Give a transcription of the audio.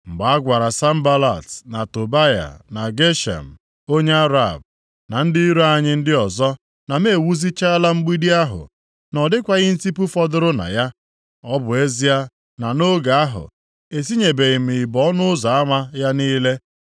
Mgbe a gwara Sanbalat, na Tobaya, na Geshem onye Arab, na ndị iro anyị ndị ọzọ na m ewuzichaala mgbidi ahụ, na ọ dịkwaghị ntipu fọdụrụ na ya, ọ bụ ezie na nʼoge ahụ, etinyebeghị m ibo nʼọnụ ụzọ ama ya niile,